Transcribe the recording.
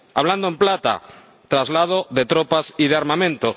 Hablando en plata traslado de tropas y de armamento.